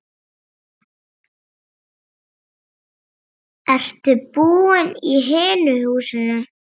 Ertu búinn í hinu húsinu?